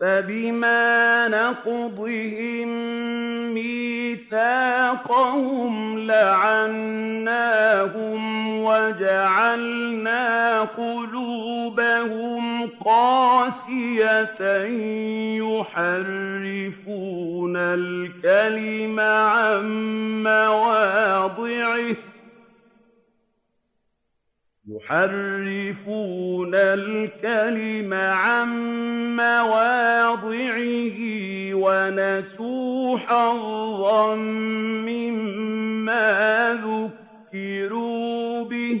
فَبِمَا نَقْضِهِم مِّيثَاقَهُمْ لَعَنَّاهُمْ وَجَعَلْنَا قُلُوبَهُمْ قَاسِيَةً ۖ يُحَرِّفُونَ الْكَلِمَ عَن مَّوَاضِعِهِ ۙ وَنَسُوا حَظًّا مِّمَّا ذُكِّرُوا بِهِ ۚ